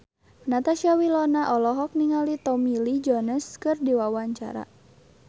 Natasha Wilona olohok ningali Tommy Lee Jones keur diwawancara